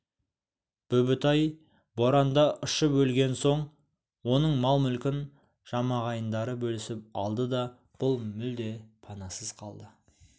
бүбітай боранда ұшып өлген соң оның мал-мүлкін жамағайындары бөлісіп алды да бұл мүлде панасыз қалды